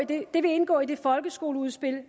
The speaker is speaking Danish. det vil indgå i det folkeskoleudspil